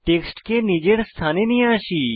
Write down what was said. টেক্সটকে নিজের স্থানে নিয়ে আসি